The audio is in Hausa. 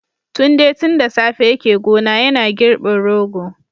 Tunde tun da safe yake gona yana girbin rogo